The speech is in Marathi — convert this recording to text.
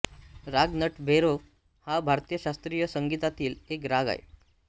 राग नटभैरव हा भारतीय शास्त्रीय संगीतातील एक राग आहे